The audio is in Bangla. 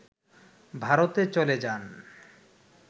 ভারতে চলে যান